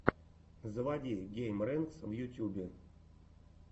заводи геймрэнкс в ютюбе